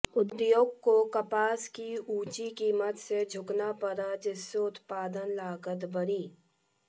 उद्योग को कपास की ऊंची कीमत से जूझना पड़ा जिससे उत्पादन लागत बढ़ी